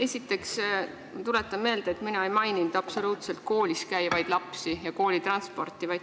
Esiteks, ma tuletan meelde, et mina ei maininud absoluutselt koolis käivaid lapsi ja koolitransporti.